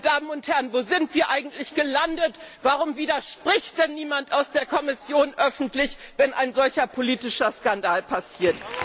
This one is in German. Meine Damen und Herren, wo sind wir eigentlich gelandet, warum widerspricht denn niemand aus der Kommission öffentlich, wenn ein solcher politischer Skandal passiert?